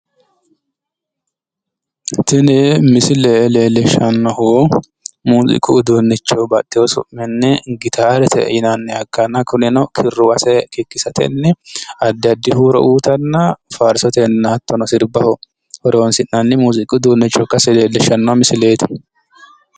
tini misile leellishshannohu muziiqu uduunnicho ikkanna baxxino su'minni gitaarete yinannita ikkanna kunino kirruwase kikkisatenni addi addi huuro uyiitanna farsotenna hattono sirbaho horonsi'nannita ikase leellishshanno misileeti.